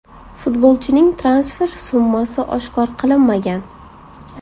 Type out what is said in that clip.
Futbolchining transfer summasi oshkor qilinmagan.